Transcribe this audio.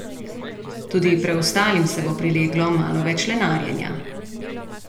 Tudi preostalim se bo prileglo malo več lenarjenja.